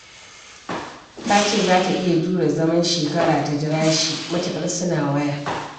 Ta ce za ta iya jure zaman shekara ta jira shi matuƙar suna waya